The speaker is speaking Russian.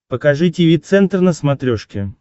покажи тиви центр на смотрешке